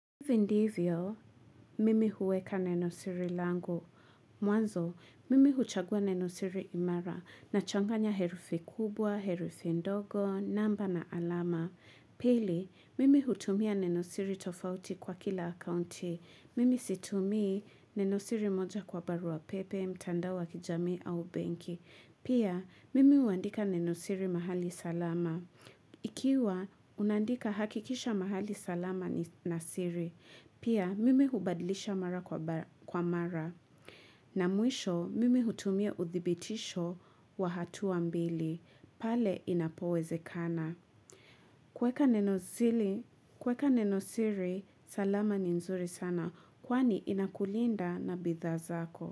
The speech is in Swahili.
Ivi ndivyo, mimi huweka nenosiri langu. Mwanzo, mimi huchagua nenosiri imara na changanya herufi kubwa, herufi ndogo, namba na alama. Pili, mimi hutumia nenosiri tofauti kwa kila akaunti. Mimi situmii nenosiri moja kwa barua pepe, mtandao wa kijami au benki. Pia, mimi uandika nenosiri mahali salama. Ikiwa, unandika hakikisha mahali salama ni nasiri. Pia mimi hubadlisha mara kwa mara. Na mwisho mimi hutumia uthibitisho wa hatua mbili. Pale inapowezekana. Kweka neno zili, kweka nenosiri, salama ni nzuri sana. Kwani inakulinda na bidha zako.